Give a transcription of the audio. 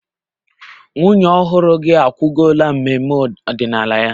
Nwunye ọhụrụ gị akwụgola mmemme ọdịnala ya